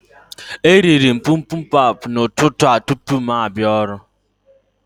E rịrị m bimbimbap n'ụtụtụ a tupu m abịa ọrụ